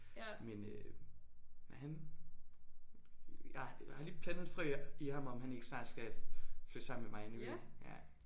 Men øh han jeg har lige plantet et frø i ham om han ikke snart skal flytte sammen med mig inde i byen ja